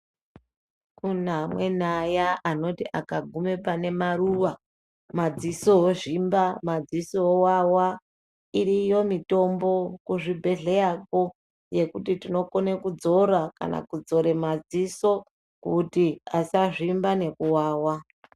Kune amweni aya anoti akagume pane maruwa madziso ozvimba madziso owawa iriyo mitombo kuzvibhedhleya kwo yekuti tinokone kudzora kana kudzore maDziso kuti asazvimba nekuwawa.